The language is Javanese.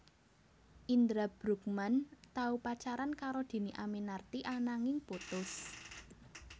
Indra Bruggman tau pacaran karo Dhini Aminarti ananging putus